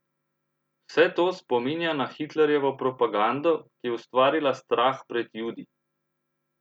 Vse to spominja na Hitlerjevo propagando, ki je ustvarila strah pred Judi!